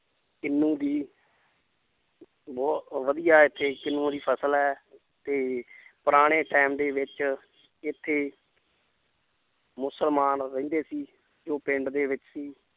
ਕਿਨੂੰ ਦੀ ਬਹੁਤ ਵਧੀਆ ਇੱਥੇ ਕਿਨੂੰ ਦੀ ਫਸਲ ਹੈ ਤੇ ਪੁਰਾਣੇ time ਦੇ ਵਿੱਚ ਇੱਥੇ ਮੁਸਲਮਾਨ ਰਹਿੰਦੇ ਸੀ ਜੋ ਪਿੰਡ ਦੇ ਵਿੱਚ ਹੀ